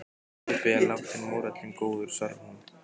Kaupið er lágt en mórallinn góður, svarar hún.